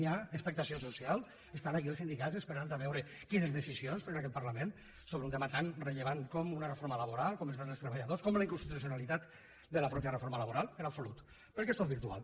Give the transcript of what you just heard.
hi ha expectació social estan aquí els sindi cats esperant a veure quines decisions pren aquest parla ment sobre un tema tan rellevant com una reforma laboral com els drets dels treballadors com la inconstitucionalitat de la mateixa reforma laboral en absolut perquè és tot virtual